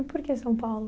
E por que São Paulo?